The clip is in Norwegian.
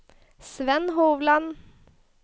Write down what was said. Svenn Hovland